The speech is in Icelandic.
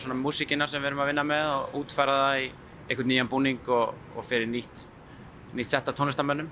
músíkina sem við erum að vinna með og útfæra það í einhvern nýjan búning og og fyrir nýtt nýtt sett af tónlistarmönnum